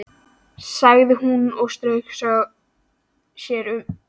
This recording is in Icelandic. sagði hún svo og strauk sér um ennið.